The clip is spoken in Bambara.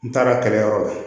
N taara kɛlɛyɔrɔ la